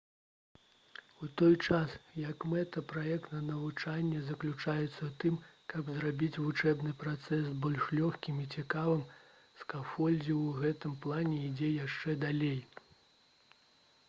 у той час як мэта праектнага навучання заключаецца ў тым каб зрабіць вучэбны працэс больш лёгкім і цікавым скафолдзінг у гэтым плане ідзе яшчэ далей